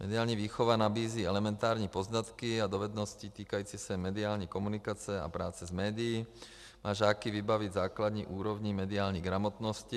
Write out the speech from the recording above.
Mediální výchova nabízí elementární poznatky a dovednosti týkající se mediální komunikace a práce s médií a žáky vybaví základní úrovní mediální gramotnosti.